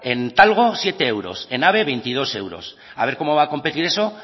en talgo siete euros en ave veintidós euros a ver cómo va a competir eso